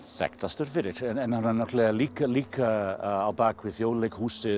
þekktastur fyrir en hann er líka líka á bak við Þjóðleikhúsið